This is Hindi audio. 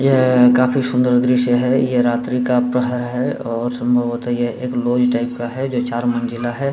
यह काफी सुन्दर दृश्य है। ये रात्रि का प्रहर है और संभवत ये एक लॉज टाइप का है जो चार मंजिला है।